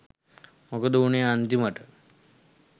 මොකද වුනේ අන්තිමට?